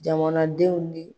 Jamanadenw bɛ